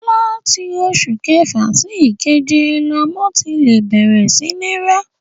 Láti oṣù kẹfà sí ìkeje lọmọ ti lè bẹ̀rẹ̀ sí ní ń rá.